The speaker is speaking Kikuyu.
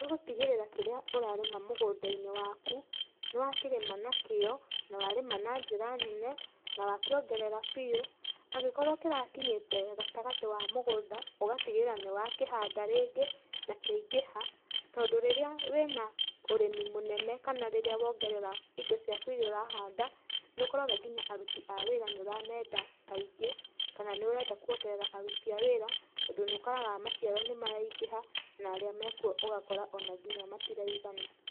Nĩ gũtigĩrĩra kĩrĩa ũrarĩma mũgũnda-inĩ waku, nĩ wa kĩrĩma na kĩyo, na warĩma na njĩra nene, na wa kĩongerera biũ, angĩkorwo kĩrakinyĩte gatagati wa mũgũnda, ũgatigĩrĩra nĩ wakĩhanda rĩngĩ na kĩaingĩha, tondũ rĩrĩa wĩna ũrĩmi mũnene kana rĩrĩa wongerera indo ciaku iria ũrahanda, nĩ ũkoraga nginya aruti a wĩra nĩ ũramenda aingĩ, kana nĩ ũrenda kuongerera aruti a wĩra tondũ nĩ ũkoraga maciaro nĩ maraingĩha, na arĩa mekwo ũgakora ona nginya matiraigana.